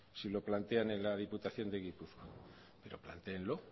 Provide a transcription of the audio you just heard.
si lo plantean en la diputación de gipuzkoa pero plantéenlo